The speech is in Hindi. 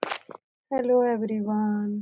Hello everyone.